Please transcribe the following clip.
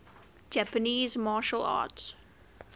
japanese martial arts